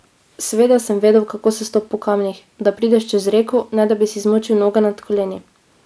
Seveda sem vedel, kako se stopa po kamnih, da prideš čez reko, ne da bi si zmočil noge nad koleni!